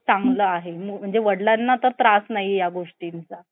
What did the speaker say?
चांगलं आहे. म्हणजे वडिलांना पण त्रास नाही या गोष्टींचा.